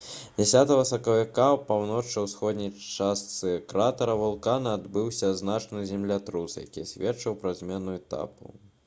10 сакавіка ў паўночна-ўсходняй частцы кратара вулкана адбыўся значны землятрус які сведчыў пра змену этапу